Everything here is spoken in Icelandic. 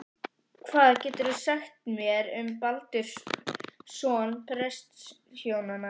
Hvað geturðu sagt mér um Baldur, son prestshjónanna?